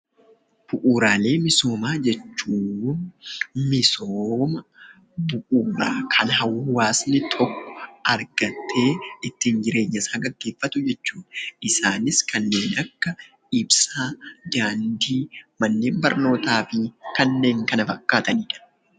Bu'uuraalee misoomaa jechuun misooma bu'uuraa kan hawaasni tokko argatee ittiin jireenya isaa geggeeffatu jechuu dha. Isaanis kanneen akka ibsaa, daandii, manneen barnootaa fi kanneen kana fakkaatani dha.